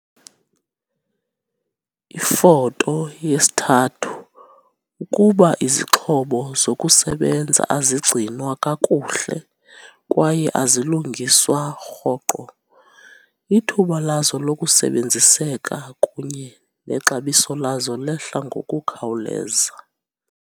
Ifoto 3- Ukuba izixhobo zokusebenza azigcinwa kakuhle kwaye azilungiswa rhoqo, ithuba lazo lokusebenziseka kunye nexabiso lazo lehla ngokukhawuleza.